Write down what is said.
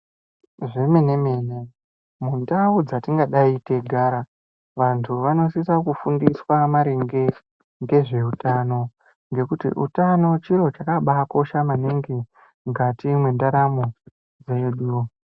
Zvemene-mene, mundau dzetingadai teigara, vantu vanosise kufundiswa maringe ngezveutano, ngekuti utano chiro chakabaakosha maningi mukati mwendaramo mwedu.